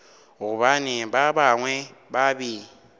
gobane ba bangwe ba be